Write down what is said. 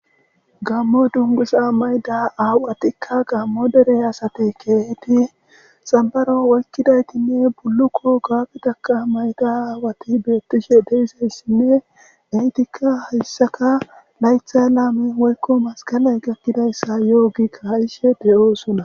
gammo dungusa mayda awu qatikka gammo dere asate keeheti sambaro woykkidaytinne bullukko gaagitaka mayda aawati beettishe deeseyssinne ehitikka hayssaka laythay laame hoykko maskaley gakkidayssa yoogikka hayshe de7oosuna